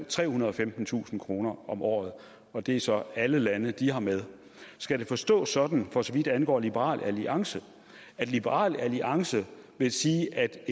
trehundrede og femtentusind kroner om året og det er så alle lande de har med skal det forstås sådan for så vidt angår liberal alliance at liberal alliance vil sige at